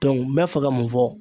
n bɛ fɛ ka mun fɔ.